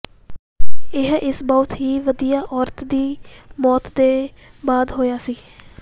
ਇਹ ਇਸ ਬਹੁਤ ਹੀ ਵਧੀਆ ਔਰਤ ਦੀ ਮੌਤ ਦੇ ਬਾਅਦ ਹੋਇਆ ਸੀ